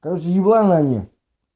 короче ебланы они